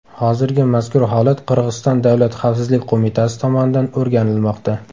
Hozirda mazkur holat Qirg‘iziston davlat xavfsizlik qo‘mitasi tomonidan o‘rganilmoqda.